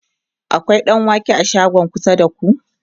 akwai ɗanwake a shagon kusa da ku?